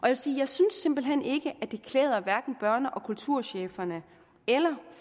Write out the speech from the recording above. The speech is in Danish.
jeg synes simpelt hen ikke det klæder hverken børne og kulturcheferne eller